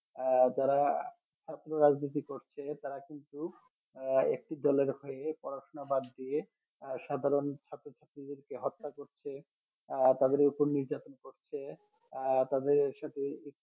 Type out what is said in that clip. আহ যারা রাজনীতি করছে তারা কিন্তু আহ একটি দলের হয়ে পড়াশোনা বাদ দিয়ে আহ সাধারণ ছাত্র ছাত্রীদেরকে হত্যা করছে আহ তাদের ওপর নির্যাতন করছে আহ তাদের সাথে